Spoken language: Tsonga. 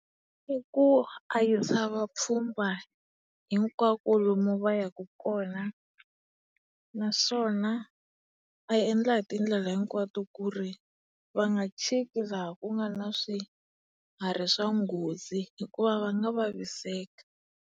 I ku a yisa vapfhumba hinkwako lomu va yaka kona naswona a endla hi tindlela hinkwato ku ri va nga chiko laha ku nga na swiharhi swa nghozi hikuva va nga vaviseka.